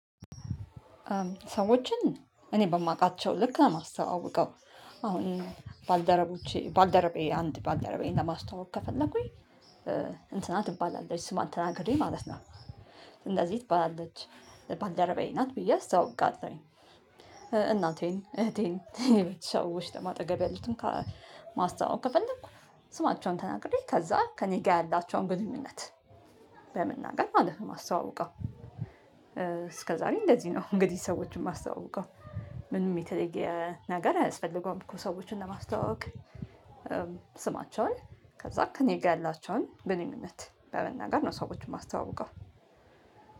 ሰዎችን እኔ በማውቃቸው ልክ ነው የማስተዋውቀው አሁን ባልደረቦቼ ባልደረባዬን አንድ ባልደረባዬን ለማስታወቅ ከፈለኩኝ እንትና ትባላለች ስሟ ተናግሬ ማለት ነው። እንደዚህ ትባላለች ባልደረባዬ ናት ብዬ አስታውቃለሁኝ። እናቴን እህቴን የቤት ሰዎች አጠገቤ ያሉትን ከማስተዋወቅ ከፈለንኩ ስማቸውን ተናግሬ ከዛ ከእኔ ጋር ያላቸውን ግንኙነት። በመናገር ማለት ነው የማስተዋውቀው እስከ ዛሬ እንደዚህ ነው እንግዲህ ሰዎችን ማስተዋውቀው። ምንም የተለየ ነገር አይስፈልገውም እኮ ሰዎችን ለማስተዋወቅ። ስማቸውን ከዛ ክእኔ ጋር ያላቸውን ግንኙነት በመናገር ነው ሰዎችን የማስተዋውቀው።